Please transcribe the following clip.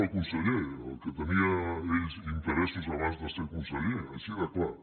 del conseller en el que tenia ell interessos abans de ser conseller així de clar